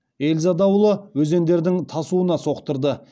эльза дауылы өзендердің тасуына соқтырды